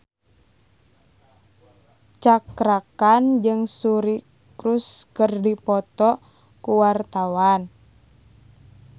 Cakra Khan jeung Suri Cruise keur dipoto ku wartawan